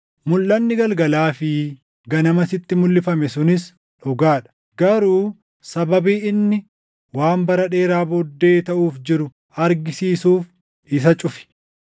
“Mulʼanni galgalaa fi ganama sitti mulʼifame sunis dhugaa dha; garuu sababii inni waan bara dheeraa booddee taʼuuf jiru argisiisuuf isa cufi.”